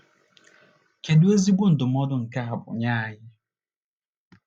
Kedu ezigbo ndụmọdụ nke a bụ nye anyị